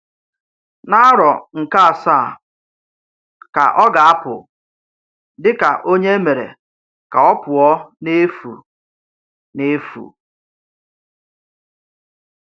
N’árọ̀ nke-ásàà ka ọ ga-apụ́ dị̀ka ònyé èmèrè ka ọ pụ̀ọ n’efu. n’efu.